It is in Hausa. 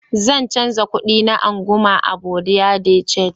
zan canza kudi na anguma a "buerea de change".